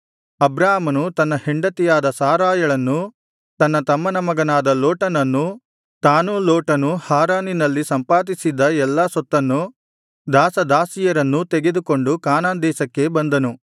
ಅಬ್ರಾಮನು ತನ್ನ ಹೆಂಡತಿಯಾದ ಸಾರಯಳನ್ನೂ ತನ್ನ ತಮ್ಮನ ಮಗನಾದ ಲೋಟನನ್ನೂ ತಾನೂ ಲೋಟನೂ ಹಾರಾನಿನಲ್ಲಿ ಸಂಪಾದಿಸಿದ್ದ ಎಲ್ಲಾ ಸೊತ್ತನ್ನೂ ದಾಸ ದಾಸಿಯರನ್ನೂ ತೆಗೆದುಕೊಂಡು ಕಾನಾನ್ ದೇಶಕ್ಕೆ ಬಂದನು